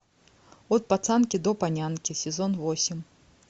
от пацанки до панянки сезон восемь